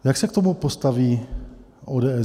Jak se k tomu postaví ODS?